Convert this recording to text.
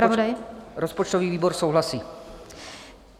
Rozpočtový výbor souhlasí.